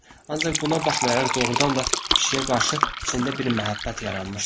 Ancaq buna baxmayaraq doğrudan da pişiyə qarşı içində bir məhəbbət yaranmışdı.